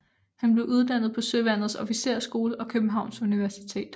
Han blev uddannet på Søværnets Officersskole og Københavns Universitet